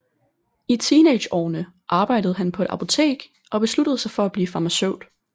I teenageårene arbejde han på et apotek og besluttede sig for at blive farmaceut